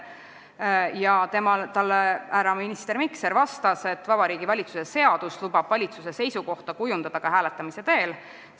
Ja minister Mikser vastas, et Vabariigi Valitsuse seadus lubab valitsuse seisukohta ka hääletamise teel kujundada.